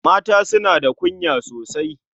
Mata suna da kunya sosai.